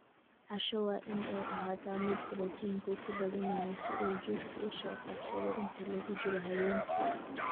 Casho waa in ay ahaataa mid borotiinku ku badan yahay si uu jidhku u soo kabsado inta lagu jiro habeenkii.